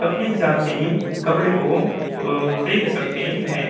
अपने हिसाब से कपडे को अ-अ खरीद सकते हैं।